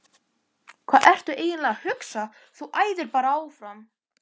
Hvað ertu eiginlega að hugsa. þú æðir bara áfram!